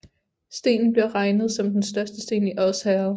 Stenen bliver regnet som den største sten i Odsherred